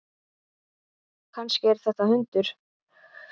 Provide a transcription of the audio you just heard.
Kannski er þetta hundur?